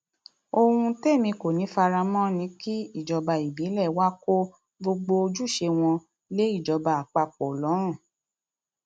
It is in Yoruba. ohun témi kò ní í fara mọ ni kí ìjọba ìbílẹ wàá kó gbogbo ojúṣe wọn lé ìjọba àpapọ àpapọ lọrun